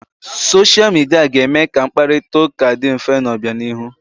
Soshia Midia ga-eme ka mkparita ụka dị mfe n'obianihu.